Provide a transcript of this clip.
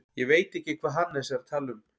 Ég veit ekki hvað Hannes er að tala um.